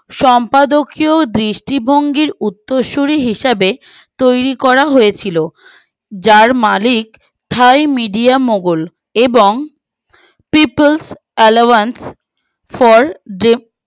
সম্পাদকীয়ও দৃষ্টি ভঙ্গির উত্তরসূরি হিসাবে তৈরী করা হয়েছিল যার মালিক ছয় মিডিও মোগল এবং triple allowance for jeb